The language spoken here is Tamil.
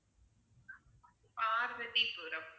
பார்வதிபுறம்